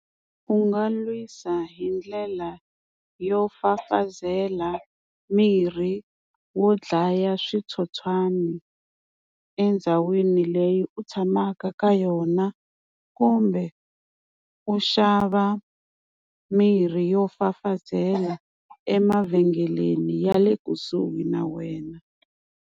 U nga lwisa hi ndlela yo fafazela mirhi wo dlaya switsotswani endhawini leyi u tshamaka ka yona, kumbe u xava mirhi yo fafazela emavhengeleni ya le kusuhi na wena.